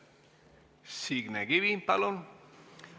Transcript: Signe Kivi, palun!